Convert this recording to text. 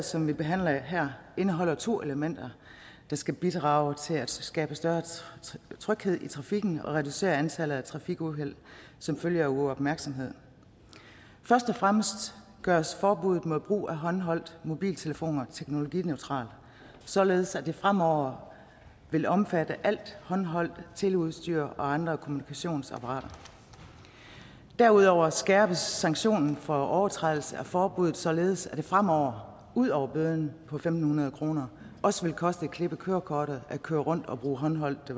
som vi behandler her indeholder to elementer der skal bidrage til at skabe større tryghed i trafikken og reducere antallet af trafikuheld som følge af uopmærksomhed først og fremmest gøres forbuddet mod brug af håndholdte mobiltelefoner teknologineutralt således at det fremover vil omfatte alt håndholdt teleudstyr og andre kommunikationsapparater derudover skærpes sanktionen for overtrædelse af forbuddet således at det fremover udover bøden på fem hundrede kroner også vil koste et klip i kørekortet at køre rundt og bruge håndholdte